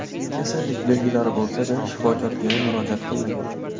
Kasallik belgilari bo‘lsa-da, shifokorga murojaat qilmagan.